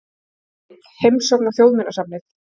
Mynd: Heimsókn á Þjóðminjasafnið.